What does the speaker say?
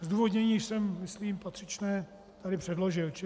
Zdůvodnění jsem myslím patřičné tady předložil.